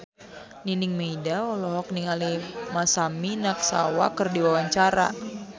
Nining Meida olohok ningali Masami Nagasawa keur diwawancara